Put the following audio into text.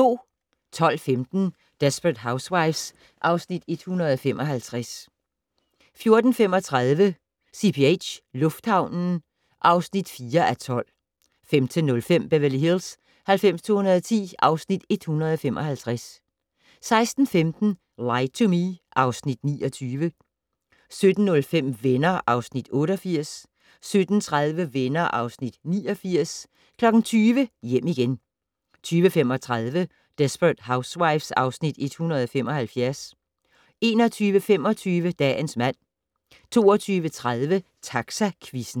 12:15: Desperate Housewives (Afs. 155) 14:35: CPH - lufthavnen (4:12) 15:05: Beverly Hills 90210 (Afs. 155) 16:15: Lie to Me (Afs. 29) 17:05: Venner (Afs. 88) 17:30: Venner (Afs. 89) 20:00: Hjem igen 20:35: Desperate Housewives (Afs. 175) 21:25: Dagens mand 22:30: Taxaquizzen